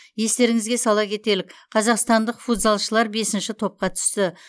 естеріңізге сала кетелік қазақстандық футзалшылар бесінші топқа түсті